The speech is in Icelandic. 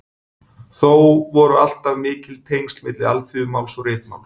Þó voru alltaf mikil tengsl milli alþýðumáls og ritmáls.